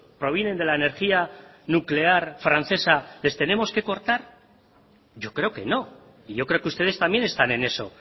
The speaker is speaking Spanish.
provienen de la energía nuclear francesa les tenemos que cortar yo creo que no y yo creo que ustedes también están en eso